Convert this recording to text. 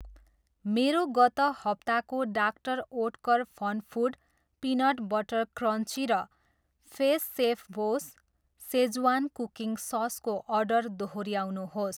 मेरो गत हप्ताको doctor Oetker FunFoods peanut butter crunchy र फेस सेफबोस सेज्वान कुकिङ ससको अर्डर दोहोऱ्याउनुहोस्।